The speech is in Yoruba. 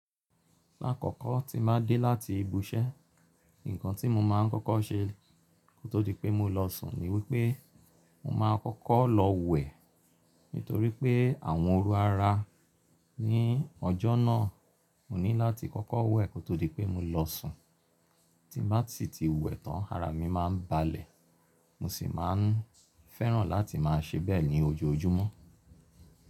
Lákọ̀ko tí mo bá dé láti ibiṣẹ́, ǹkan tí mo máa ń kọ́kọ́ ṣe kó tó di pé mo lọ sùn ni wípé mo máa n kọ́kọ́ lọ wẹ̀. Nítorí pé àwọn oru ara ní ọjọ́ náà, mo ní láti kọ́kọ́ wẹ̀ kó tó di pé mo lọ sùn. Tí n bá si ti wẹ̀ tán, ara mi máa ń balẹ̀. Mo sì máa ń fẹ́ràn láti máa ṣe bẹ́ẹ̀ ní ojoojúmọ́.